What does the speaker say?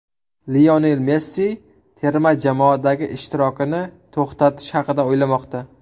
Lionel Messi terma jamoadagi ishtirokini to‘xtatish haqida o‘ylamoqda.